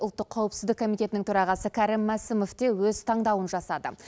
ұлттық қауіпсіздік коммитетінің төрағасы кәрім мәсімов те өз таңдауын жасады